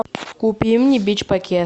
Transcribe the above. купи мне бич пакет